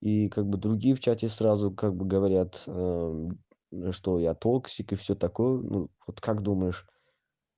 и как бы другие в чате сразу как бы говорят что я злобный игрок и всё такое ну вот как думаешь